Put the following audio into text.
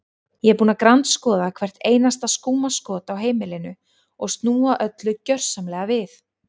Ég er búin að grandskoða hvert einasta skúmaskot á heimilinu og snúa öllu gjörsamlega við.